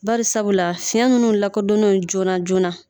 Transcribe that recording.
Bari sabula fiɲɛ nunnu lakɔdɔno joona joona